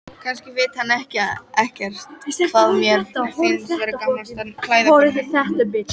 Kannski veit hann ekkert hvað mér finnst vera gamaldags klæðaburður.